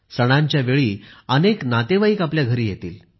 सणांच्या वेळी अनेक नातेवाईक आपल्या घरी येतील